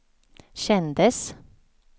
kändes